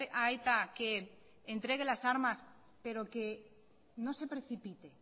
a eta que entregue las armas pero que no se precipite